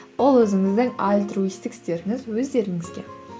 ол өзіңіздің альтруисттік істеріңіз өздеріңізге